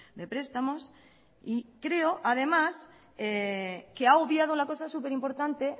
de prestamos y creo además que ha obviado la cosa superimportante